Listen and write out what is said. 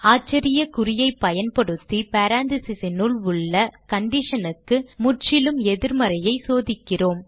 ஆச்சரியக்குறியைப் பயன்படுத்தி parentheses னுள் உள்ள condition க்கு முற்றிலும் எதிர்மறையைச் சோதிக்கிறோம்